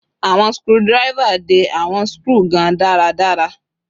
Awọn screwdriver de awọn skru gan daradara